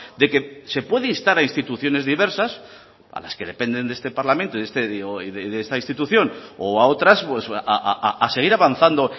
de que se puede instar a instituciones diversas a las que dependen de este parlamento y de esta institución o a otras a seguir avanzando